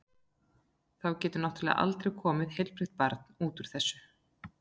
Þá getur náttúrlega aldrei komið heilbrigt barn út úr þessu.